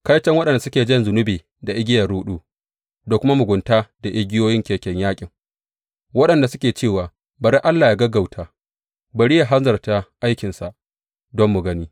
Kaiton waɗanda suke jan zunubi da igiyar ruɗu, da kuma mugunta da igiyoyin keken yaƙin, waɗanda suke cewa, Bari Allah yă gaggauta, bari yă hanzarta aikinsa don mu gani.